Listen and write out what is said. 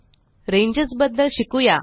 ranges बद्दल शिकुया